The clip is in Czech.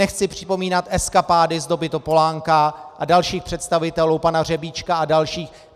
Nechci připomínat eskapády z doby Topolánka a dalších představitelů, pana Řebíčka a dalších.